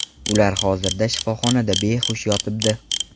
Ular hozirda shifoxonada behush yotibdi.